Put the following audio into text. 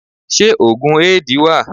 Ṣé òògùn Éèdì wà?